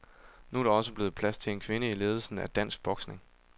Nu er der også blevet plads til en kvinde i ledelsen af dansk boksning.